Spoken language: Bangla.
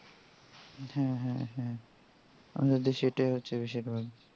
আমাদের দেশে এটাই হচ্ছে বিষয়টা এই জন্যই তো